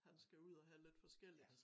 Han skal ud og have lidt forskelligt